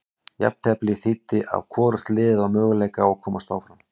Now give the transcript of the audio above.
Jafnteflið þýddi að hvorugt liðið á möguleika að komast áfram.